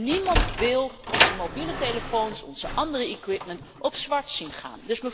En niemand wil onze mobiele telefoons, onze andere equipments, op zwart zien gaan.